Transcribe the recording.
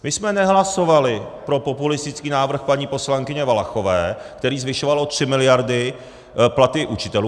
My jsme nehlasovali pro populistický návrh paní poslankyně Valachové, který zvyšoval o tři miliardy platy učitelů.